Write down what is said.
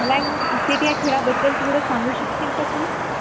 मला नं क्रिकेट ह्या खेळाबद्दल थोडं सांगू शकशिल का तू